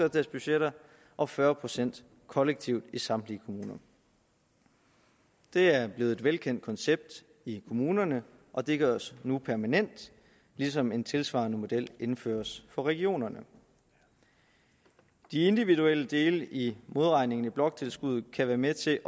deres budgetter og fyrre procent kollektivt i samtlige kommuner det er blevet et velkendt koncept i kommunerne og det gøres nu permanent ligesom en tilsvarende model indføres for regionerne de individuelle dele i modregningen i bloktilskuddet kan være med til